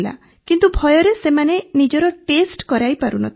କିନ୍ତୁ ଭୟରେ ସେମାନେ ନିଜର ଟେଷ୍ଟ କରାଇ ପାରୁନଥିଲେ